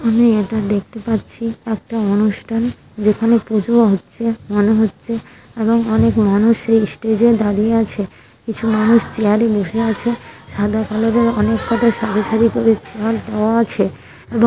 আমি এটা দেখতে পাচ্ছি একটা অনুষ্ঠান যেখানে পূজো ও হচ্ছে মনে হচ্ছে এবং অনেক মানুষ এই স্টেজ -এ দাঁড়িয়ে আছে কিছু মানুষ চেয়ারে বসে আছে সাদা কালার এর অনেককটা সারি সারি করে চেয়ার দেওয়া আছে এবং --